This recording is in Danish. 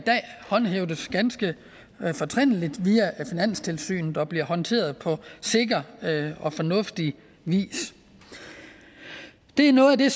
håndhæves ganske fortrinligt via finanstilsynet og bliver håndteret på sikker og fornuftig vis det er noget af det